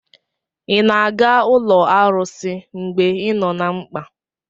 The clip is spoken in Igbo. ị na-aga ụlọ arụsị mgbe ị nọ na mkpa?